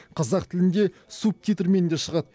қазақ тілінде субтитрмен де шығады